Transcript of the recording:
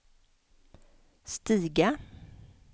stiga